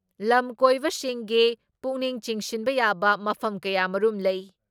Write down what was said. ꯂꯝ ꯀꯣꯏꯕꯁꯤꯡꯒꯤ ꯄꯨꯛꯅꯤꯡ ꯆꯤꯡꯁꯤꯟꯕ ꯌꯥꯕ ꯃꯐꯝ ꯀꯌꯥꯃꯔꯨꯝ ꯂꯩ ꯫